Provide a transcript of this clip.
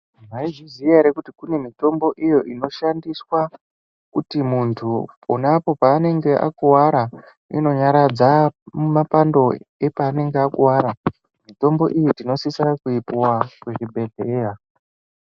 Mwaizviziya ere kuti kune mitombo iyo inoshandiswa kuti muntu ponapo paanenge akuwara inonyaradza mapando epanenge akuwara. Mitombo iyi tinosisira kuipiwa kuzvibhendlera.